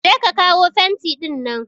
Je ka kawo fenti ɗinnan!